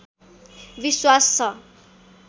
विश्वास छ